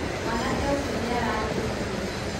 Mwanake ũcio nĩ ararĩa irio nyingĩ